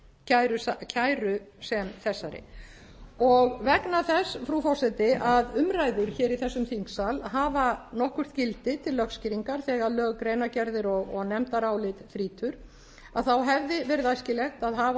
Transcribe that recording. kæru sem þessari og vegna þess frú forseti að umræður hér í þessum þingsal hafa nokkurt gildi til lögskýringa þegar lög greinargerðir og nefndarálit þrýtur að þá hefði verið æskilegt að hafa